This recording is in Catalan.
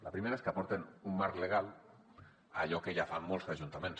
la primera és que aporta un marc legal a allò que ja fan molts ajuntaments